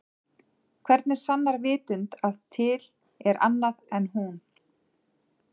Hvernig sannar vitund að til er annað en hún?